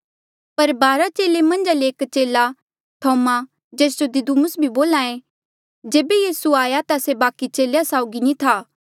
पर बारा चेले मन्झा ले एक चेला थोमा जेस जो दिदुमुस भी बोल्हा ऐें जेबे यीसू आया ता से बाकी चेलेया साउगी नी था